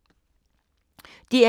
DR1